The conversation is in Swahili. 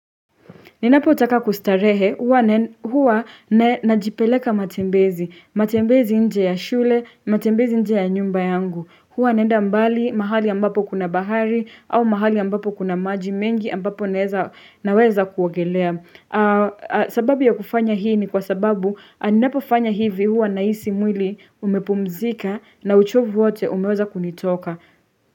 Ninapo taka kustarehe, huwa na jipeleka matembezi, matembezi nje ya shule, matembezi nje ya nyumba yangu. Huwa naenda mbali mahali ambapo kuna bahari, au mahali ambapo kuna maji mengi ambapo naweza kuogelea. Sababu ya kufanya hii ni kwa sababu, ninapo fanya hivi huwa nahisi mwili umepumzika na uchovu wote umeweza kunitoka.